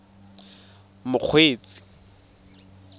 mokgweetsi